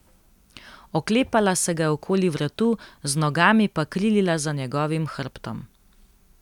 Oklepala se ga je okoli vratu, z nogami pa krilila za njegovim hrbtom.